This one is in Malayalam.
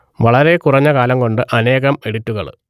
വളരെ കുറഞ്ഞ കാലം കൊണ്ട് അനേകം എഡിറ്റുകൾ